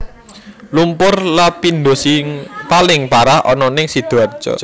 Lumpur Lapindosing paling parah ono ning Sidoarjo